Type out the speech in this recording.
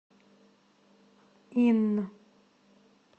инн